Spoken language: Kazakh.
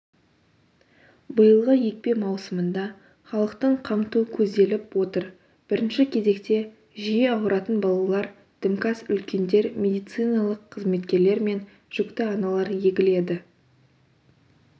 биылғы екпе маусымында халықтың қамту көзделіп отыр бірінші кезекте жиі ауыратын балалар дімкәс үлкендер медициналық қызметкерлер мен жүкті аналар егіледі